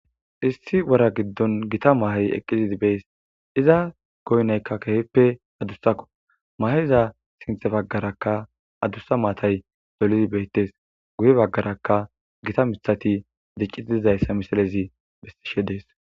Issi wora giddon gita mahay eqqizidi bees iza goynaykka keheppe adussakko maheza sinthe baggaraka adussa maatay dolizi beyttes guye baggarakka gita mithati diccii dizayssa misalezi bestishe dees.